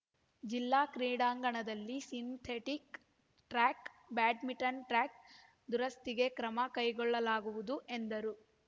ಜಿಲ್ಲಾ ಕ್ರೀಡಾಂಗಣದಲ್ಲಿ synthetic track badminton track ದುರಸ್ತಿಗೆ ಕ್ರಮ ಕೈಗೊಳ್ಳಲಾಗುವುದು ಎಂದರು